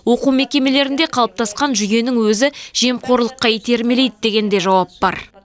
оқу мекемелерінде қалыптасқан жүйенің өзі жемқорлыққа итермелейді деген де жауап бар